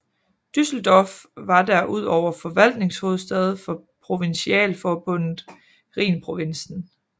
Düsseldorf var der ud over forvaltningshovedstad for Provinsialforbundet Rhinprovinsen